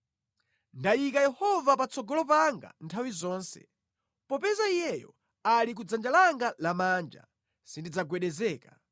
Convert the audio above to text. Ndayika Yehova patsogolo panga nthawi zonse. Popeza Iyeyo ali kudzanja langa lamanja, sindidzagwedezeka.